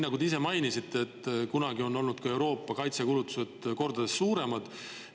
Nagu te ise mainisite, on Euroopa kaitsekulutused kunagi olnud kordades suuremad.